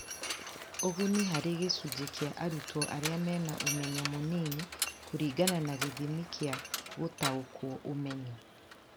Ũguni harĩ gĩcunjĩ kĩa arutwo arĩa mena ũmenyo mũnini kũringana na gĩthimi kĩa gũtaokwo ũmenyo